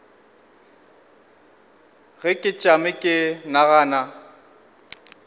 ge ke tšama ke nagana